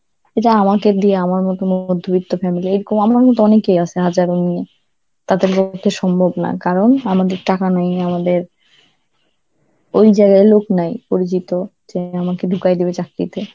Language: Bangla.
এটা আমাকে দিয়ে~ আমার মতন মধ্যবিত্ত family র, এই ক আ আমার মতন অনেকেই আছে হাজারো মেয়ে, তাতে পক্ষে সম্ভব না কারণ আমাদের টাকা নাই, আমাদের ওই জায়গায় লোক নাই পরিচিত, যিনি আমাকে ঢুকাই দিবে চাকরিতে.